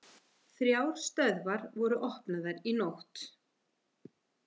Þrjár stöðvar voru opnaðar í nótt